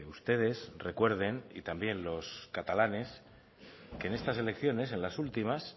ustedes recuerden y también los catalanes que en estas elecciones en las últimas